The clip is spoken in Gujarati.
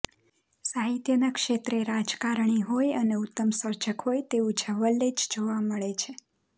સાહિત્યના ક્ષેત્રે રાજકારણી હોય અને ઉત્તમ સર્જક હોય તેવું જવલ્લે જ જોવા મળે છે